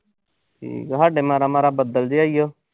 ਹਮ ਸਾਡੇ ਮਾੜਾ-ਮਾੜਾ ਬੱਦਲ ਜਾ ਈ ਆ।